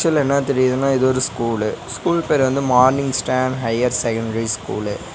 உள்ள என்னா தெரியிதுனா இது ஒரு ஸ்கூல்லு ஸ்கூல் பேர் வந்து morning star higher secondary school .